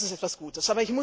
Das ist etwas Gutes.